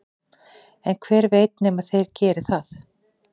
en hver veit nema þeir geri það